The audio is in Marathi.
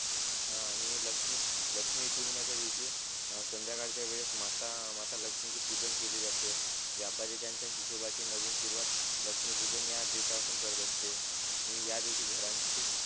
हा आणि लक्ष्मी लक्ष्मी पूजनाचा दिवशी संद्याकाळच्या वेळेस माता माता लक्ष्मी ची पूजन केली जाते व्यापारी त्याचा हिशोबाची नवीन सुरुवात लक्ष्मी पूजन या दिवस पासून करत असते आणि या दिवशी घरांची